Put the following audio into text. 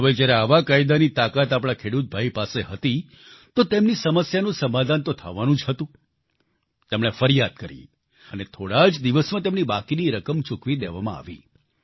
હવે જ્યારે આવા કાયદાની તાકાત આપણા ખેડૂતભાઈ પાસે હતી તો તેમની સમસ્યાનું સમાધાન તો થવાનું જ હતું તેમણે ફરિયાદ કરી અને થોડા જ દિવસમાં તેમની બાકી રકમ ચૂકવી દેવામાં આવી